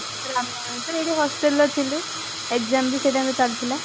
ରାମ ନବମୀ ତ ଏଇଠି hostelରେ ଥିଲୁ exam ବି ସେଇtimeରେ ଚାଲିଥିଲା